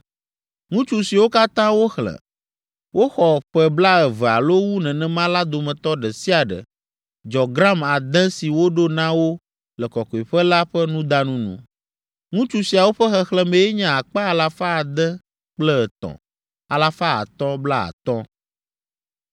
Ŋutsu siwo katã woxlẽ, woxɔ ƒe blaeve alo wu nenema la dometɔ ɖe sia ɖe dzɔ gram ade si woɖo na wo le kɔkɔeƒe la ƒe nudanu nu. Ŋutsu siawo ƒe xexlẽmee nye akpe alafa ade kple etɔ̃, alafa atɔ̃ blaatɔ̃ (603,550).